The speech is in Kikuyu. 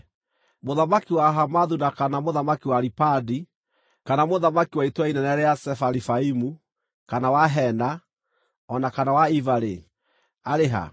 Mũthamaki wa Hamathu na kana mũthamaki wa Aripadi, kana mũthamaki wa itũũra inene rĩa Sefarivaimu kana wa Hena, o na kana wa Iva-rĩ, arĩ ha?”